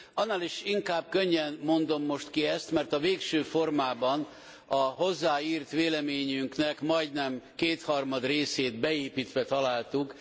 Annál is inkább könnyen mondom most ki ezt, mert a végső formában a hozzáírt véleményünknek majdnem kétharmad részét beépítve találtuk.